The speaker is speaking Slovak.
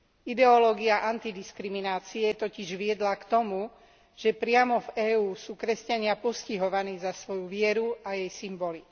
Ideológia antidiskriminácie totiž viedla k tomu, že priamo v EÚ sú kresťania postihovaní za svoju vieru a jej symboly.